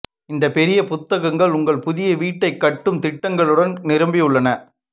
இந்த பெரிய புத்தகங்கள் உங்கள் புதிய வீட்டை கட்டும் திட்டங்களுடன் நிரம்பியுள்ளன